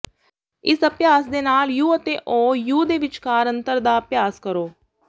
ਇਸ ਅਭਿਆਸ ਦੇ ਨਾਲ ਯੂ ਅਤੇ ਓ ਯੂ ਦੇ ਵਿਚਕਾਰ ਅੰਤਰ ਦਾ ਅਭਿਆਸ ਕਰੋ